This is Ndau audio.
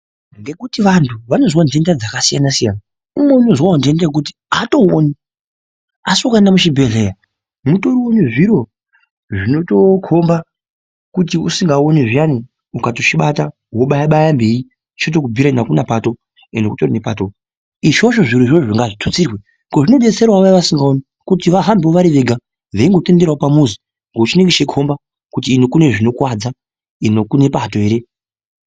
Nekuti vantu vanozwa ndenda dzakasiyanaa siyana umweni unozwa ndoenda yekuti haatooni. Asi wakaenda kuchibhehleya mutoriwo nezviro zvinotokhomba kuti usingaoni zviyani ukatochibata zviyani wobayabaya mberi chotokubhiyira kuti hakuna pato uyo ndiko kutori nepato ichocho izvozvo zvirozvo ngazvitutsirwe zvinodetsera vayani vasingaoni kuti vahambewo vari vega veitenderera pamuzi veikomba kuti iyo kune zvinokuwadza kune pato ere.